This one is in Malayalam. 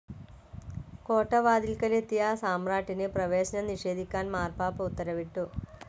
കോട്ടവാതിൽക്കലെത്തിയ സമ്രാട്ടിന് പ്രവേശനം നിഷേധിക്കാൻ മാർപ്പാപ്പ ഉത്തരവിട്ടു.